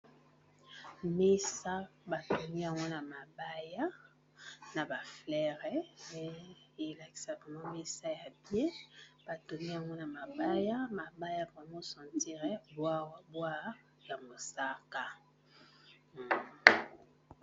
mesa batoni angwana mabaya na bafleires elakisaeme mesa ya pie batoni angwana mabaya mabaya bramo sentire bwwbwa ya mosaka